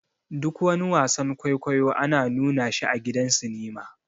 Duk wani wasan-kwaikwaiyo ana nuna shi a gidan sinima.